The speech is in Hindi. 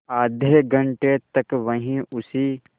आधे घंटे तक वहीं उसी